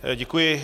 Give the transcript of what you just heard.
Děkuji.